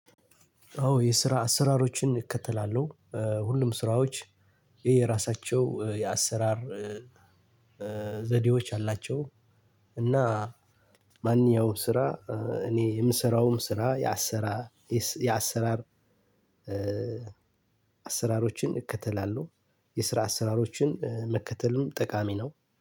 አዎ የስራ አሰራሮችን እከተላለሁ። ሁሉም ስራዎች የየራሳቸው የአሰራር ዘዴዎች አላቸው። እና ማን ያው ስራ እኔ የምሰራውም ስራ የአሰራ የአሰራር አሰራሮችን እከተላለሁ። የስራ አሰራሮችን መከተልም ጠቃሚ ነው።